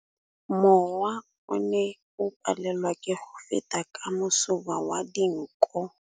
Mowa o ne o palelwa ke go feta ka masoba a dinko.